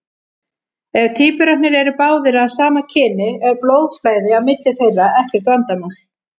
Ef tvíburarnir eru báðir af sama kyni er blóðflæði á milli þeirra ekkert vandamál.